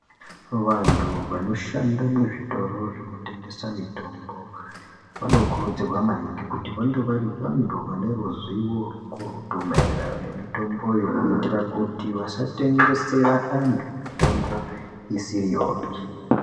Vantu vanoshande muzvitoro zvekutengesa mitombo, vanokurudzirwa maningi ,kuti vange vari vantu vane ruzivo rwukurutu, maererano nemitomboyo ,kuitira kuti vasatengesera antu mitombo isiriyopi.